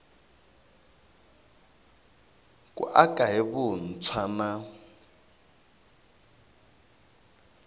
ku aka hi vuntshwa na